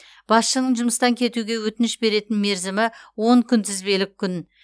басшының жұмыстан кетуге өтініш беретін мерзімі он күнтізбелік күн